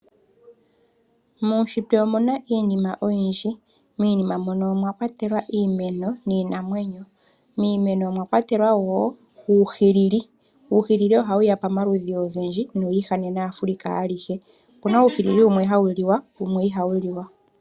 Muushitwe omu na iinima oyindji. Miinima mono omwa kwatelwa iimeno niinamwenyo. Miimeno omwa kwatelwa wo uuhilili. Uuhilili ohawu ya pamaludhi ogendji nowi ihanena Afrika alihe. Opu na uuhilili wumwe hawu liwa wumwe ihawu liwa.